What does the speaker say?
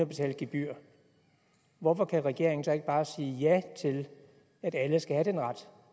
betale gebyr hvorfor kan regeringen så ikke bare sige ja til at alle skal have den ret